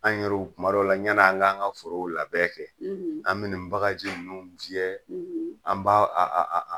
An yɛru kuma dɔw la yan ni an k'an ka forow labɛn kɛ an bi nin bagaji nunnu biyɛ an b'a a